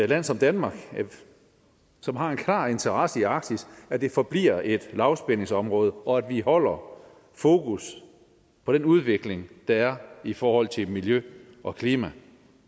land som danmark som har en klar interesse i arktis at det forbliver et lavspændingsområde og at vi holder fokus på den udvikling der er i forhold til miljø og klima